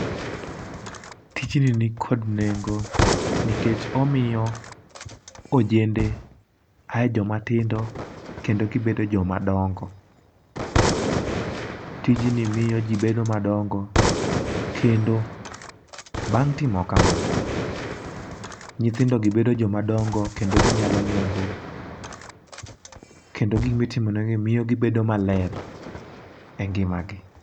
Tijni nikod nengo nikech omio ojende ae joma tindo kendo gibedo joma dongo. Tijni miyo jii bedo madongo kendo bang' timo kama, nyithindo gi bedo joma dongo kendo ginyalo nyombo kendo gimitimonegini miyo gibedo maler e ngima gi.